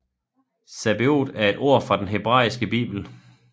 Zebaot er et ord fra den hebraiske bibel